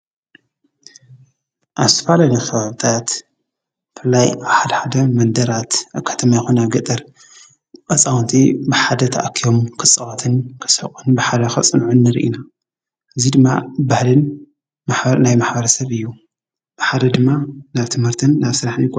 ኣስፋልኒኽወብታት ፍላይ ብሓድ ሓደ መንደራት ኣካተማ ኣይኮነ ገጠር ቐፃውንቲ ብሓደ ተኣኪዮም ክጽዋትን ክሠሕቊን ብሓደ ኸጽንዑኒርኢና እዙይ ድማ ባህልን ማናይ ማኅባረ ሰብ እዩ ብሓደ ድማ ናብ ትምህርትን ናብ ሥልሕ ን ይኹን።